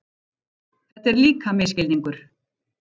Þetta er líka misskilningur.